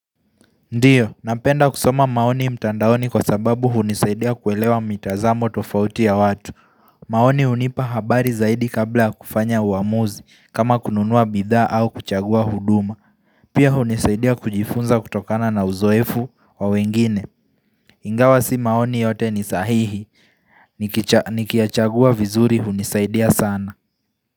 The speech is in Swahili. Ndiyo, napenda kusoma maoni mtandaoni kwa sababu hunisaidia kuelewa mitazamo tofauti ya watu maoni hunipa habari zaidi kabla kufanya uamuzi kama kununua bidhaa au kuchagua huduma Pia hunisaidia kujifunza kutokana na uzoefu wa wengine Ingawa si maoni yote ni sahihi, nikiyachagua vizuri hunisaidia sana.